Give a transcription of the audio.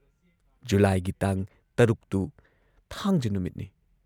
ꯖꯨꯨꯂꯥꯏꯒꯤ ꯇꯥꯡ ꯶ ꯇꯨ ꯊꯥꯡꯖ ꯅꯨꯃꯤꯠꯅꯤ ꯫